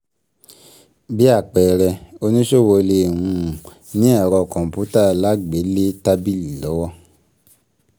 Bí àpẹẹrẹ, oníṣòwò lè um ní Ẹ̀rọ kọ̀ǹpútà Alágbèélé tábìlì lọ́wọ́.